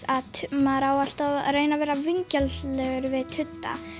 að maður á alltaf að reyna að vera vingjarnlegur við tudda